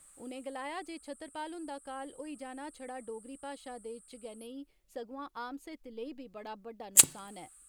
उनें गलाया जे छतरपाल हुंदा काल होई जाना छड़ा डोगरी भाषा दे इच गै नेई सगुआं आम साहित्य लेई बी बड़ बड्डा नुकसान ऐ।